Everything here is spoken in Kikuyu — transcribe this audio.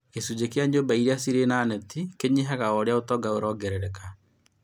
Gĩcunjĩ kĩa nyũmba iria cĩrĩ na neti kĩnyihaga oũria ũtonga ũrongerereka